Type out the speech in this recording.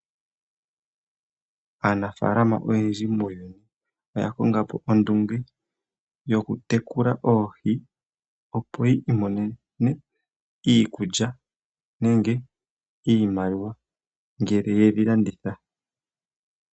Aanafaalama oyendji muuyuni oya kongapo ondunge yoku tekula Oohi opo yi imonene iikulya nenge iimaliwa ngele yedhi landitha.